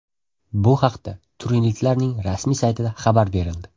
Bu haqda turinliklarning rasmiy saytida xabar berildi .